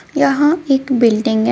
यहां एक बिल्डिंग है.